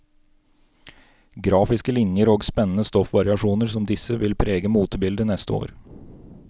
Grafiske linjer og spennende stoffvariasjoner som disse vil prege motebildet neste år.